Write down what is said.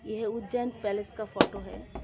यह उज्जैन पैलेस का फोटो है.